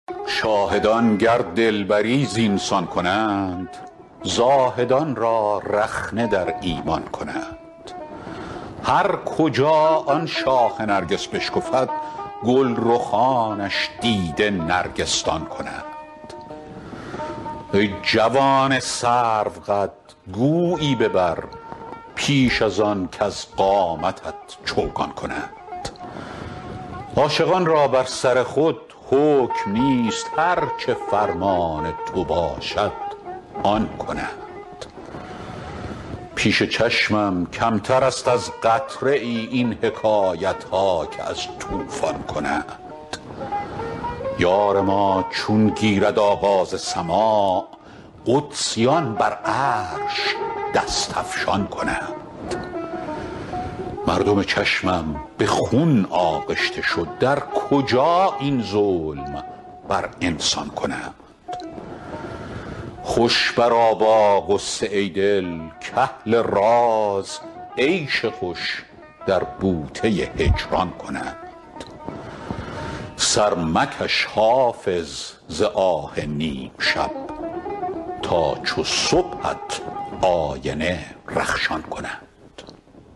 شاهدان گر دلبری زین سان کنند زاهدان را رخنه در ایمان کنند هر کجا آن شاخ نرگس بشکفد گل رخانش دیده نرگس دان کنند ای جوان سروقد گویی ببر پیش از آن کز قامتت چوگان کنند عاشقان را بر سر خود حکم نیست هر چه فرمان تو باشد آن کنند پیش چشمم کمتر است از قطره ای این حکایت ها که از طوفان کنند یار ما چون گیرد آغاز سماع قدسیان بر عرش دست افشان کنند مردم چشمم به خون آغشته شد در کجا این ظلم بر انسان کنند خوش برآ با غصه ای دل کاهل راز عیش خوش در بوته هجران کنند سر مکش حافظ ز آه نیم شب تا چو صبحت آینه رخشان کنند